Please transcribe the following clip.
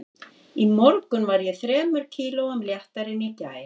Í morgun var ég þremur kílóum léttari en í gær